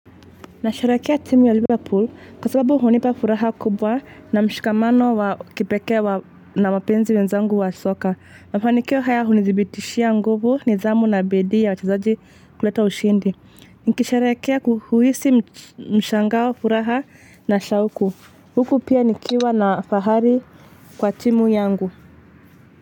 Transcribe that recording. Nasharehekea timu ya liverpool kwa sababu hunipa furaha kubwa na mshikamano wa kipekee wa na wapenzi wenzangu wa soka. Mafanikio haya hunidhibitishia nguvu nidhamu na biidi ya wachezaji kuleta ushindi. Nikisharehekea ku huhisi mshangao furaha na shauku. Huku pia nikiwa na fahari kwa timu yangu.